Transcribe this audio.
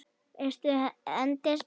Vestur hendir spaða.